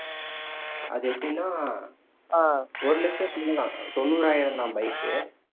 அதெப்படின்னா ஒரு லட்சம் தான் தொண்ணூறாயிரம் தான் bike